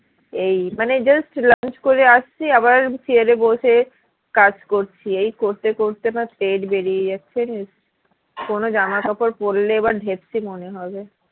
এই মানে just lunch করে আসছি আবার chair এ বসে কাজ করছি এই করতে করতে না পেট বেরিয়ে যাচ্ছে জানিস কোনো জামাকাপড় পড়লে এবার ঢেপসি মনে হবে